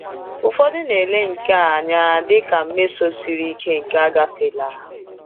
Ụfọdụ na-ele nke a anya dị ka mmeso siri ike nke agafeela.